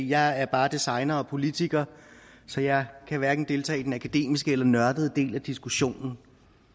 jeg er bare designer og politiker så jeg kan hverken deltage i den akademiske eller den nørdede del af diskussionen